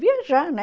Viajar, né?